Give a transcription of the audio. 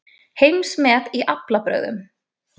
Heimsmet í aflabrögðum